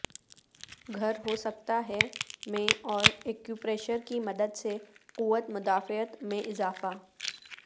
گھر ہو سکتا ہے میں اور یکیوپریشر کی مدد سے قوت مدافعت میں اضافہ